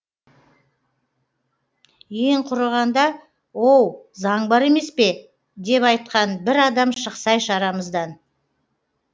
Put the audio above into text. ең құрығанда оу заң бар емес пе деп айтқан бір адам шықсайшы арамыздан